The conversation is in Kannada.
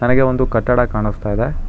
ನಗೆ ಒಂದು ಕಟ್ಟಡ ಕಾಣುಸ್ತಾ ಇದೆ.